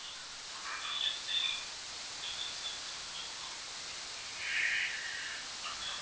ma'am நாங்க lifestyle health insurance lifestyle health insurance ல இருந்து பேசுறோம் hello